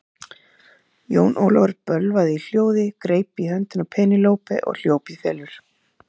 Jón Ólafur bölvaði í hljóði, greip í hönd Penélope og hljóp í felur.